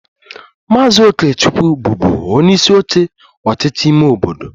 Maazị Okechukwu bụbu onyeisi oche ọchịchị ime obodo